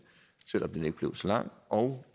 selv om den ikke blev så lang og